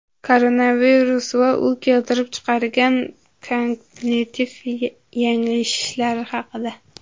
Koronavirus va u keltirib chiqargan kognitiv yanglishishlar haqida.